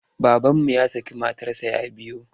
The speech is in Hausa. Babanmu ya şakı matarsa ya biyu.